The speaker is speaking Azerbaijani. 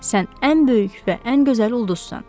Sən ən böyük və ən gözəl ulduzsan.